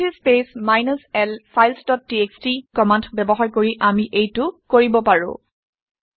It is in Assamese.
WC speech minus l files dot TXT command ব্যৱহাৰ কৰি আমি এইটো কৰিব পাৰোঁ